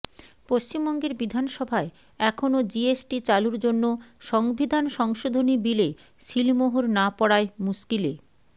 পশ্চিমবঙ্গের বিধানসভায় এখনও জিএসটি চালুর জন্য সংবিধান সংশোধনী বিলে সিলমোহর না পড়ায় মুশকিলে